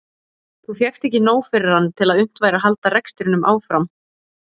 Þá fékkst ekki nóg fyrir hann til að unnt væri að halda rekstrinum áfram.